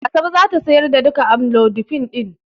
Asabe za ta sayar da duka amlodipine din.